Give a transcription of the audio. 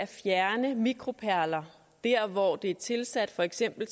fjerne mikroperler der hvor de er tilsat for eksempel